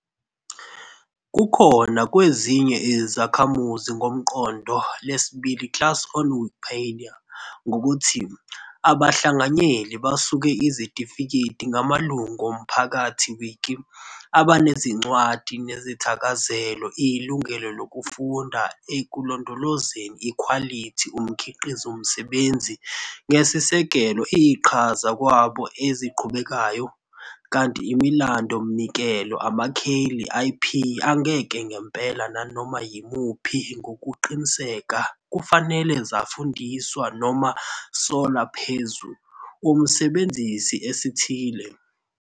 kukhona kwezinye izakhamuzi ngomqondo lesibili class on Wikipedia, ngokuthi "abahlanganyeli basuke izitifiketi ngamalungu omphakathi wiki, abanezincwadi nesithakazelo ilungelo lokufuna ekulondolozeni ikhwalithi umkhiqizo msebenzi, ngesisekelo iqhaza kwabo eziqhubekayo ", kanti imilando umnikelo amakheli IP angeke ngempela nanoma yimuphi ngokuqiniseka kufanele zafundiswa noma sola phezu, umsebenzisi esithile.